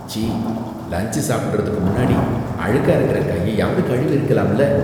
ச்சீ! லன்ச் சாப்பிடுறதுக்கு முன்னாடி அழுக்கா இருக்குற கையையாவது கழுவியிருக்கலாம்ல.